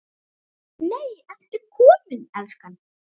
NEI, ERTU KOMIN, ELSKAN!